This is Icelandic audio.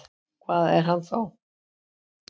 Hvað er hann þá?